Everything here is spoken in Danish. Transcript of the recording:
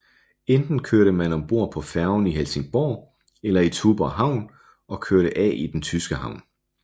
Enten kørte man om bord på færgen i Helsingborg eller i Tuborg Havn og kørte af i den tyske havn